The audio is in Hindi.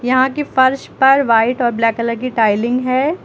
यहां के फर्श पर वाइट और ब्लैक कलर की टाईलिंग है।